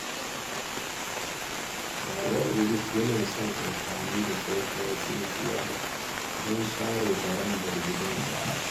Baba Idris yana son amfani da tsohuwar tsintsiya don share barandar gidansa.